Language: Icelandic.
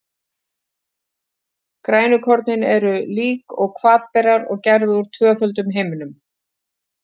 Grænukorn eru, líkt og hvatberar, gerð úr tvöföldum himnum.